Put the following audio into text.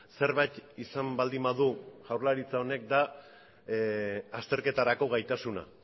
zerbait izan baldin badu jaurlaritza honek da azterketarako gaitasuna